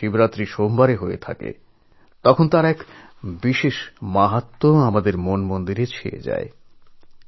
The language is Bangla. সোমবার এবং শিবরাত্রি একসঙ্গে পড়ে গেলে আমাদের মন বিশেষ পবিত্র ভাবনায় ও ভক্তিতে ভরে ওঠে